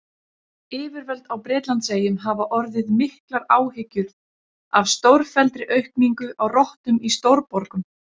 Yfirvöld á Bretlandseyjum hafa orðið miklar áhyggjur af stórfelldri aukningu á rottum í stórborgum.